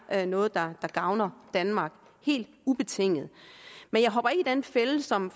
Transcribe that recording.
er noget der gavner danmark helt ubetinget men jeg hopper ikke i den fælde som